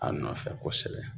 A nɔfɛ kosɛbɛ.